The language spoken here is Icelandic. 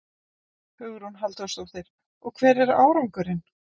Hugrún Halldórsdóttir: Og hver er árangurinn?